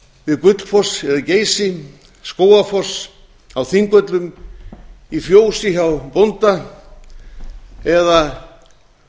við gullfoss eða geysi skógafoss á þingvöllum í fjósi hjá bónda eða